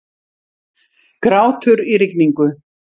Grátur í rigningu.